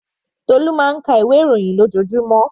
Tolu máa ń ka ìwé ìròyìn lójoojúmọ́.